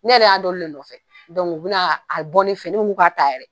Ne yɛrɛ y'a dɔn olu le nɔfɛ u bina a bɔ ne fen in ne ko n k'u ka ta yɛrɛ.